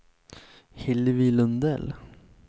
Hillevi Lundell